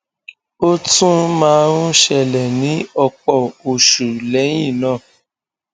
ó tún máa ń ṣẹlẹ ní ọpọ oṣù lẹyìn náà